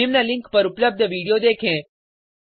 निम्न लिंक पर उपलब्ध वीडियो देखें